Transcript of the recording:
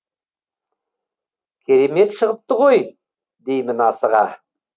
керемет шығыпты ғой деймін асыға